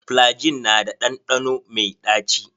Flygin na da ɗanɗano mai ɗaci.